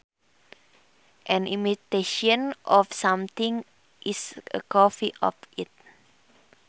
An imitation of something is a copy of it